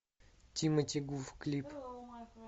тимати гуф клип